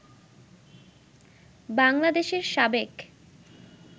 বাংলাদেশের সাবেক